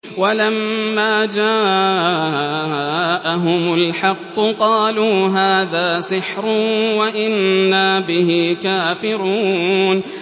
وَلَمَّا جَاءَهُمُ الْحَقُّ قَالُوا هَٰذَا سِحْرٌ وَإِنَّا بِهِ كَافِرُونَ